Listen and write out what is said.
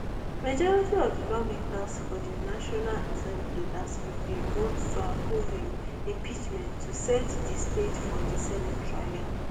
majority of di lawmakers for di national assembly last week bin vote to approve im impeachment to set di stage for di senate trial